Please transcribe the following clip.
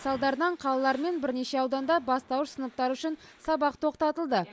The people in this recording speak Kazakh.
салдарынан қалалар мен бірнеше ауданда бастауыш сыныптар үшін сабақ тоқтатылды